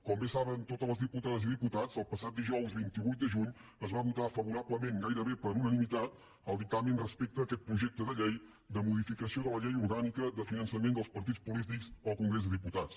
com bé saben totes les diputades i diputats el passat dijous vint vuit de juny es va votar favorablement gairebé per unanimitat el dictamen respecte a aquest projecte de llei de modificació de la llei orgànica de finançament dels partits polítics al congrés de diputats